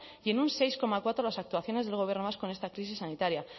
y en un seis coma cuatro las actuaciones del gobierno vasco en esta crisis sanitarias